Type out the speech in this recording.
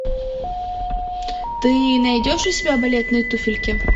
ты найдешь у себя балетные туфельки